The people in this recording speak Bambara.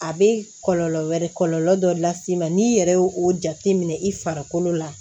A bɛ kɔlɔlɔ wɛrɛ kɔlɔlɔ dɔ las'i ma n'i yɛrɛ y'o o jateminɛ i farikolo la